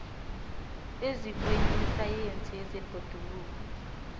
ezikweni lesayensi yezebhoduluko